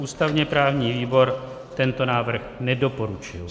Ústavně-právní výbor tento návrh nedoporučil.